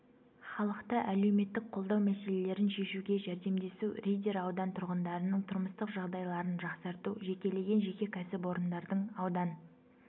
халықты әлеуметтік қолдау мәселелерін шешуге жәрдемдесу риддер аудан тұрғындарының тұрмыстық жағдайларын жақсарту жекелеген жеке кәсіпорындардың аудан